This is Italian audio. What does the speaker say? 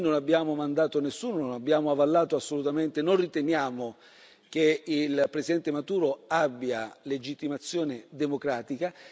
Noi non abbiamo mandato nessuno, non abbiamo avallato assolutamente, non riteniamo che il Presidente Maduro abbia legittimazione democratica.